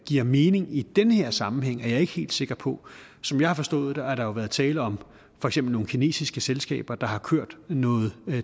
giver mening i den her sammenhæng er jeg ikke helt sikker på som jeg har forstået det har der været tale om for eksempel nogle kinesiske selskaber der har kørt noget